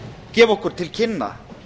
gefa okkur til kynna